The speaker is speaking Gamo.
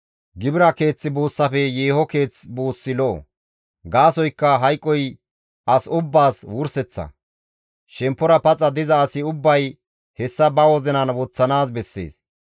Gibira keeth buussafe yeeho keeth buussi lo7o; gaasoykka hayqoy as ubbaas wurseththa; shemppora paxa diza asi ubbay hessa ba wozinan woththanaas bessees.